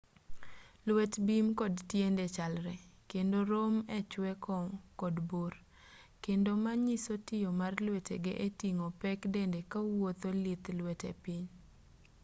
lwet bim kod tiende chalre kendo rom echwe kod bor kendo ma nyiso tiyo mar lwetege eting'o pek dende kowuotho lith lwete piny